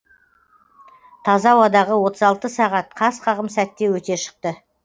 таза ауадағы отыз алты сағат қас қағым сәтте өте шықты